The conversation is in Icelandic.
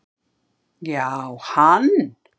Já, hann